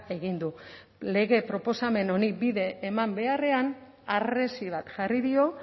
egin du lege proposamen honi bide eman beharrean harresi bat jarri dio